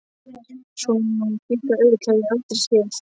Svona hvíta ull hef ég aldrei séð.